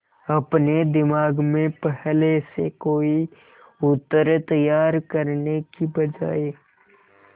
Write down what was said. अपने दिमाग में पहले से कोई उत्तर तैयार करने की बजाय